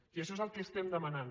i això és el que estem demanant